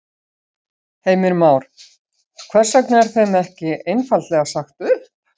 Heimir Már: Hvers vegna er þeim þá ekki einfaldlega sagt upp?